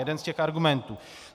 Jeden z těch argumentů.